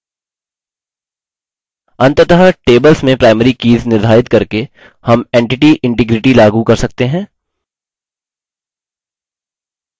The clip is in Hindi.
अंततः tables में primary कीज़ निर्धारित करके हम entity integrity लागू कर रहे हैं